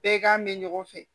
Bɛɛ k'an mɛ ɲɔgɔn fɛ